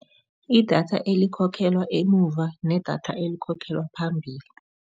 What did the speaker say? Idatha elikhokhelwa emuva nedatha elikhokhelwa phambili.